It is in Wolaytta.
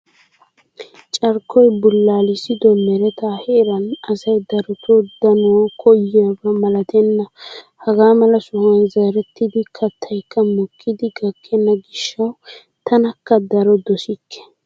Carkkoyi bullaalissido meretaa heeran asayi darotoo daanawu koyyiyaaba malatenna. Hagaa mala sohuwan zerettida kattayikka mokkidi gakkenna gishshawu tankka daro dosikke.